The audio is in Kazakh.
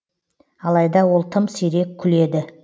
алайда ол тым сирек күледі